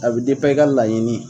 A bi i ka laɲini.